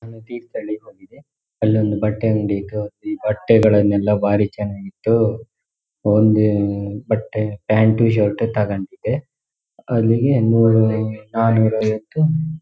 ನಾನು ತೀರ್ಥಹಳ್ಳಿ ಹೋಗಿದ್ದೆ ಅಲ್ಲೊಂದು ಬಟ್ಟೆ ಅಂಗಡಿ ಇದ್ವು ಈ ಬಟ್ಟೆಗಳನ್ನೆಲ್ಲಾ ಭಾರಿ ಚನಾಗ್ ಇತ್ತು ಓನ್ಲಿ ಬಟ್ಟೆ ಪ್ಯಾಂಟು ಶರ್ಟ್ ತಗೊಂಡಿದ್ದೆ ಅಲ್ಲಿಗೆ ನೂರು ನಾನೂರ್ ಐವತ್ತು --